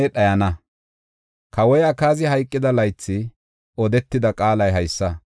Kawoy Akaazi hayqida laythi odetida qaalay haysa: